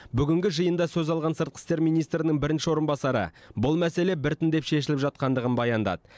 бүгінгі жиында сөз алған сыртқы істер министрінің бірінші орынбасары бұл мәселе біртіндеп шешіліп жатқандығын баяндады